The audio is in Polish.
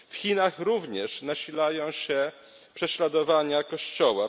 W Chinach również nasilają się prześladowania Kościoła.